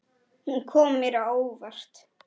Hún kom mér á óvart.